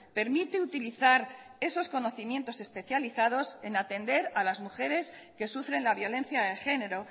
permite utilizar esos conocimientos especializados en atender a las mujeres que sufren la violencia de género